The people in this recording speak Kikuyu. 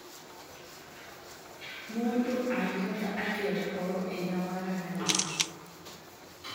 Mũndũ angĩhota atĩa gũkorwo ena waragania?